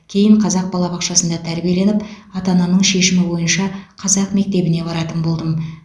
кейін қазақ балабақшасында тәрбиеленіп ата анамның шешімі бойынша қазақ мектебіне баратын болдым